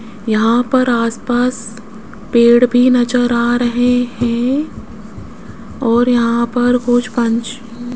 यहां पर आसपास पेड़ भी नजर आ रहे हैं और यहां पर कुछ पंच --